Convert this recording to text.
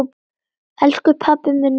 Elsku pabbi minn er dáinn!